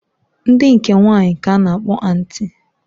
Ndi nke nwanyi k'a na-akpọ antị.